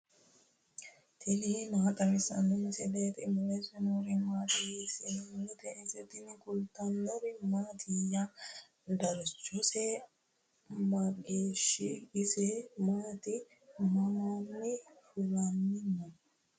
tini maa xawissanno misileeti ? mulese noori maati ? hiissinannite ise ? tini kultannori mattiya? darichosi mageeho? isi maati? Mamanni fulani noo?